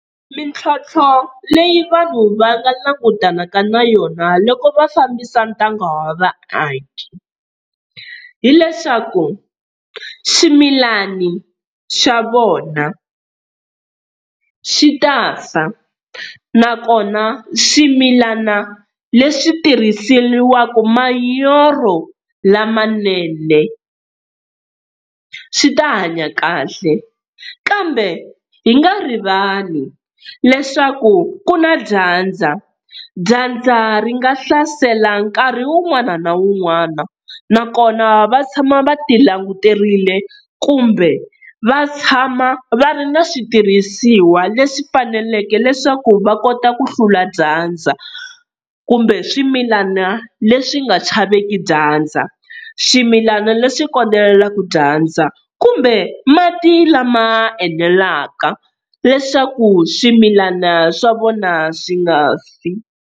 Mintlhontlho leyi vanhu va nga langutanaka na yona loko va fambisa ntanga wa vaaki. Hi leswaku swimilani swa vona swi ta fa, nakona swimilana leswi tirhiseriwaka manyoro lamanene swi ta hanya kahle, kambe hi nga rivali leswaku ku na dyandza, dyandza ri nga hlasela nkarhi wun'wana na wun'wana nakona va tshama va ti languterile kumbe va tshama va ri na switirhisiwa leswi faneleke leswaku va kota ku hlula dyandza. Kumbe swimilana leswi nga chaveki dyandza, swimilana leswi kondelelaka dyandza kumbe mati lama enelaka leswaku swimilana swa vona swi nga fi.